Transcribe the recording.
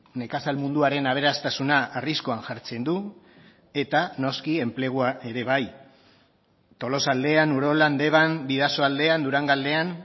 nekazal munduaren aberastasuna arriskuan jartzen du eta noski enplegua ere bai tolosaldean urolan deban bidasoaldean durangaldean